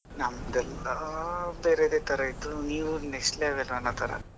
ನಮ್ಮದೆಲ್ಲಾ ಬೇರೆದೆ ತರ ಇತ್ತು ನೀವು next level ಅನ್ನೋ ತರ.